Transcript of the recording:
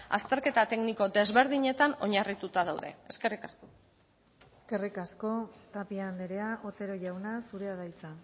azterketa tekniko desberdinetan oinarrituta daude eskerrik asko eskerrik asko tapia andrea otero jauna zurea da hitza